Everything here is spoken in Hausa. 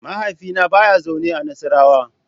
Mahaifina ba ya zaune a Nassarawa.